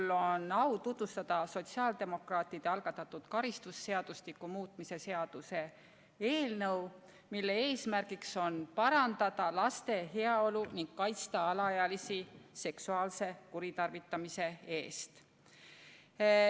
Mul on au tutvustada sotsiaaldemokraatide algatatud karistusseadustiku muutmise seaduse eelnõu, mille eesmärk on parandada laste heaolu ning kaitsta alaealisi seksuaalse kuritarvitamise eest.